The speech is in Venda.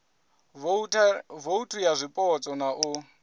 vouthu ya zwipotso na u